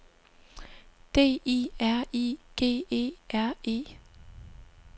D I R I G E R E